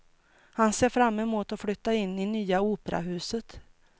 Han ser fram emot att flytta in i nya operahuset.